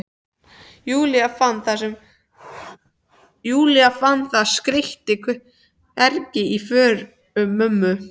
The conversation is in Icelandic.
Júlía, fann það skeyti hvergi í fórum mömmu.